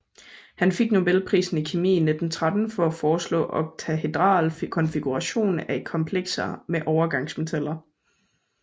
Han fik Nobelprisen i kemi i 1913 for at foreslå oktahedral konfiguration af komplekser med overgangsmetaller